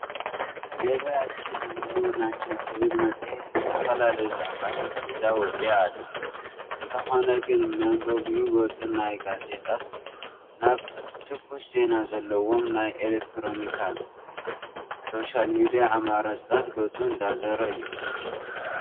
ገቢያችን ህልውናችን ትብል መፅሄት ዝተፈላለዩ ዛዕባታት ሒዛ ወፂኣ ኣላ፡፡ እንተኾነ ግን መንበቢ ገፁ ካብ ጋዜጣታት ናብ ትኩስ ዜና ዘለዎም ናይ ኤለክትሮኒክ ሶሻል ሚድያ ኣማራፅታት ገፁ እንዳዞረ እዩ፡፡